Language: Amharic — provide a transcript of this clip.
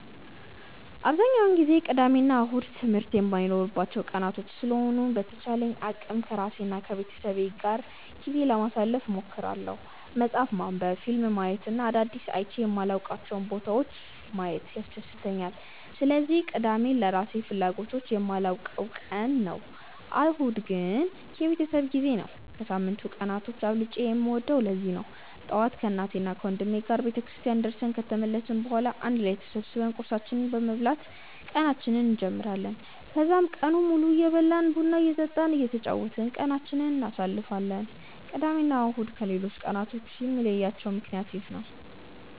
አብዛኛውን ጊዜ ቅዳሜ እና እሁድ ትምህርት የማይኖርባቸው ቀናቶች ስለሆኑ በተቻለኝ አቅም ከራሴ እና ከቤተሰቤ ጋር ጊዜ ለማሳለፍ እሞክራለሁ። መፅሀፍ ማንበብ፣ ፊልም ማየት እና አዳዲስ አይቼ የማላውቃቸውን ቦታዎች ማየት ያስደስተኛል። ስለዚህ ቅዳሜን ለራሴ ፍላጎቶች የማውለው ቀን ነው። እሁድ ደግሞ የቤተሰብ ጊዜ ነው። ከሳምንቱ ቀናት አብልጬ የምወደውም ለዚህ ነው። ጠዋት ከእናቴና ወንድሜ ጋር ቤተክርስቲያን ደርሰን ከተመለስን በኋላ አንድ ላይ ተሰብስበን ቁርሳችንን በመብላት ቀናችንን እንጀምራለን። ከዛም ቀኑን ሙሉ እየበላን፣ ቡና እየጠጣን እና እየተጫወትን ቀናችንን እናሳልፋለን። ቅዳሜ እና እሁድን ከሌሎቹ ቀናቶች የሚለያቸው ምክንያት ይህ ነው።